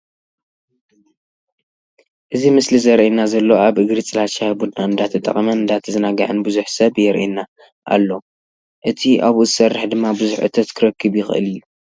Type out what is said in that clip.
እዚ ምስሊ ዘርእየና ዘሎ ኣብ እግሪ ፅላል ሻሂ ቡና እንዳተጠቀመን እንዳተዛናገዐን ቡዙሕ ሰብ የርእየና ኣሎ። እቲ ኣብኡ ዝሰርሕ ድማ ብዙሕ እቶት ክረክብ ይክእል እዩ።